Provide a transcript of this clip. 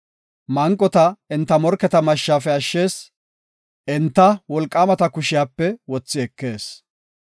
Manqota enta morketa mashshafe ashshees; enta wolqaamata kushiyape wothi ekees.